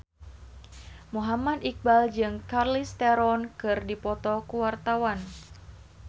Muhammad Iqbal jeung Charlize Theron keur dipoto ku wartawan